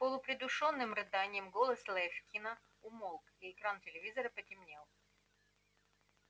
с полупридушенным рыданием голос лефкина умолк и экран телевизора потемнел